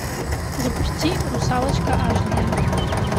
запусти русалочка аш д